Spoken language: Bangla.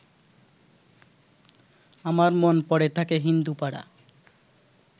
আমার মন পড়ে থাকে হিন্দুপাড়া